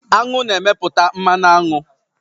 Aṅụ na-emeputa mmanụaṅụ